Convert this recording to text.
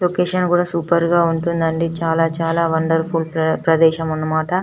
Location కూడా super గ ఉంటుంది అంది చాల చాల వండర్ఫుల్ ప్రదేశం అనమాట.